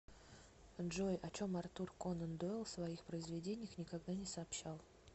джой о чем артур конан дойл в своих произведениях никогда не сообщал